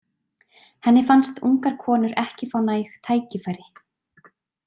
Henni fannst ungar konur ekki fá næg tækifæri.